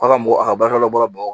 Aw ka mɔgɔ a ka baaraw bɔra baga